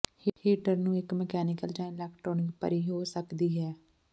heater ਨੂੰ ਇੱਕ mechanical ਜ ਇਲੈਕਟ੍ਰਾਨਿਕ ਭਰੀ ਹੋ ਸਕਦੀ ਹੈ